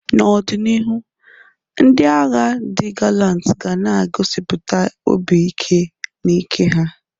N'ọdịnihu, ndị agha di galanti ga na egosipụta obi ike na ike ha.